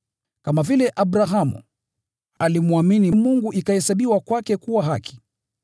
Kama vile “Abrahamu alimwamini Mungu na ikahesabiwa kwake kuwa haki.”